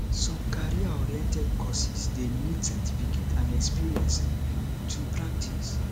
some career oriented course de need certificate and experience um to practice